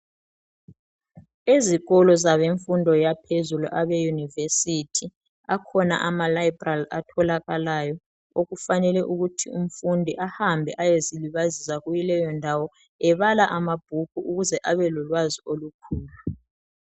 Ezikolo zabemfundo yaphezulu abe university akhona ama library atholakalayo okufanele ukuthi umfundi ahambe ayezilibazisa kuleyondawo ebala amabhuku ukuze abe lolwazi olukhulu.